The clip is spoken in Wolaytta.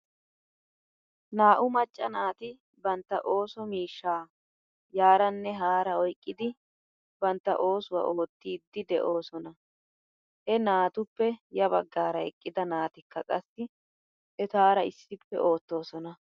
Naa'u macca naati bantta ooso miishshaa yaaranne haara oyqqidi bantta oosuwaa oottiidi de'oosona. He naatuppe ya bagaara eqqida naatikka qassi etaara issippe ootoosona.